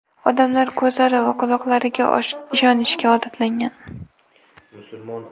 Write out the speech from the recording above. Odamlar ko‘zlari va quloqlariga ishonishga odatlangan.